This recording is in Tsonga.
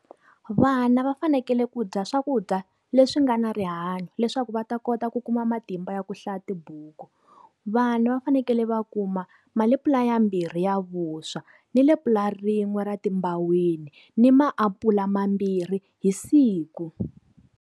Vana va fanekele ku dya swakudya leswi nga na rihanyo leswaku va ta kota ku kuma matimba ya ku hlaya tibuku. Vana va fanekele va kuma malepula ya mbirhi ya vuswa, ni le pulana rin'we ra timbaweni ni maapula mambirhi hi siku.